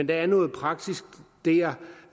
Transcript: der er noget praksis der